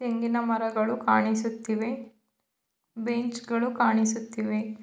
ತೆಂಗಿನ ಮರಗಳು ಕಾಣಿಸುತ್ತಿವೆ ಬೆಂಚ್ ಗಳು ಕಾಣಿಸುತ್ತಿವೆ.